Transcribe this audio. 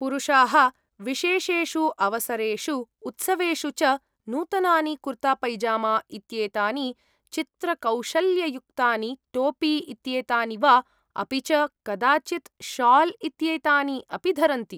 पुरुषाः विशेषेषु अवसरेषु उत्सवेषु च नूतनानि कुर्तापैजामा इत्येतानि, चित्रकौशल्ययुक्तानि टोपि इत्येतानि वा, अपि च कदाचित् शाल् इत्येतानि अपि धरन्ति।